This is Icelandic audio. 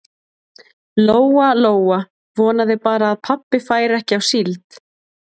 Lóa Lóa vonaði bara að pabbi færi ekki á síld.